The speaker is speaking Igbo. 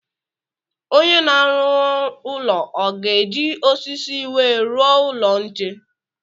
Onye na-arụ ụlọ ọ ga-eji osisi wee rụọ ụlọ nche?